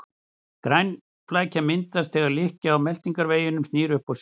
Garnaflækja myndast þegar lykkja á meltingarveginum snýr upp á sig.